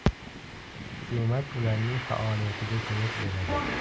Hukumat ularning faoliyatiga ko‘mak beradi.